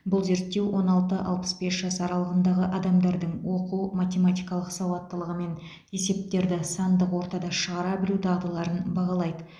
бұл зерттеу он алты алпыс бес жас аралығындағы адамдардың оқу математикалық сауаттылығы мен есептерді сандық ортада шығара білу дағдыларын бағалайды